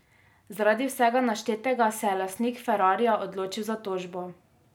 Zaradi vsega naštetega se je lastnik ferrarija odločil za tožbo.